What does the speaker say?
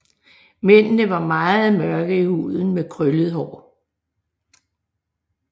Mændene var meget mørke i huden med krøllet hår